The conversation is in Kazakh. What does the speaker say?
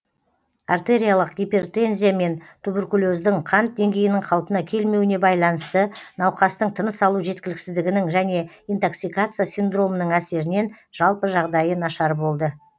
артериялық гипертензия мен туберкулездің қант деңгейінің қалпына келмеуіне байланысты науқастың тыныс алу жеткіліксіздігінің және интоксикация синдромының әсерінен жалпы жағдайы нашар болды